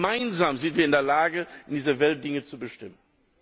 Aber gemeinsam sind wir in der Lage, in dieser Welt Dinge zu bestimmen.